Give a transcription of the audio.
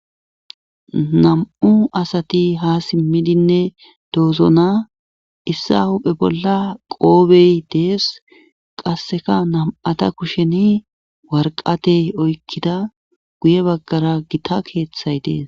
Nam'u asati ha simmidinne doozona issa hube bolla qoobey dees qasseka nam7ata kusheni warqatey oykkida guye baggara gita keeththay dees.